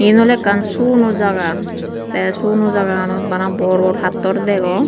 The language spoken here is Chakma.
yan oley ekkan suguno jaga tey suguno jaganot bor bor pattor degong.